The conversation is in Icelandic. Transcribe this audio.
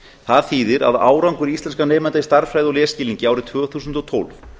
það þýðir að árangur íslenskra nemenda í stærðfræði og lesskilningi árið tvö þúsund og tólf